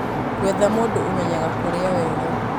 gwetha mũndũ ũmenyaga kũrĩa wega